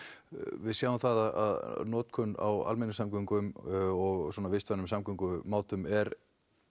við sjáum það að notkun á almenningssamgöngum og vistvænum samgöngum er